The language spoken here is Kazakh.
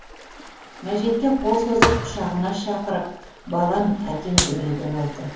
мәжитке қолын созып құшағына шақырып балам әкең дүниеден озды